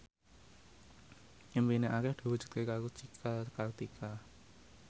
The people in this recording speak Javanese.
impine Arif diwujudke karo Cika Kartika